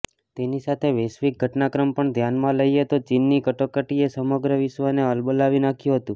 તેની સાથે વૈશ્વિક ઘટનાક્રમ પણ ધ્યાનમાં લઈએ તો ચીનની કટોકટીએ સમગ્ર વિશ્વને હલબલાવી નાખ્યું હતું